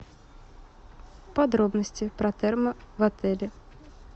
подробности про термо в отеле